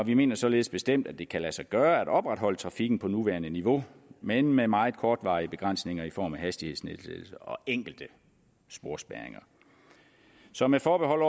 vi mener således bestemt at det kan lade sig gøre at opretholde trafikken på nuværende niveau men med meget kortvarige begrænsninger i form af hastighedsnedsættelser og enkelte sporspærringer så med forbehold